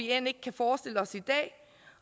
end ikke kan forestille os i dag